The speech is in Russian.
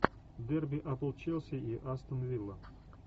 дерби апл челси и астон вилла